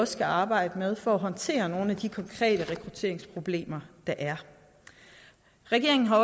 skal arbejde med for at håndtere nogle af de konkrete rekrutteringsproblemer der er regeringen har